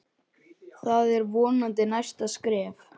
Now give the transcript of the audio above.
Það er vonandi næsta skref